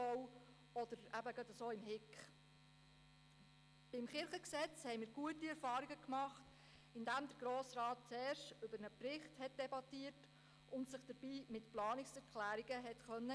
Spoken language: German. Beim Gesetz über die bernischen Landeskirchen (Landeskirchengesetz, LKG) hatten wir gute Erfahrungen gemacht, indem der Grosse Rat zuerst über einen Bericht debattieren und sich dabei mit Planungserklärungen einbringen konnte.